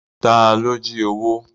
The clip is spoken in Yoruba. Ta ló jí owó?